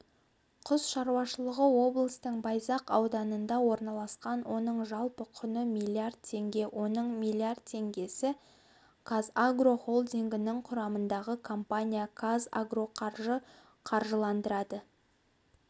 құс шаруашылығы облыстың байзақ ауданында орналасқан оның жалпы құны миллиард теңге оның миллиард теңгесі қазагро холдингінің құрылымындағы компания қазагроқаржы қаржыландырады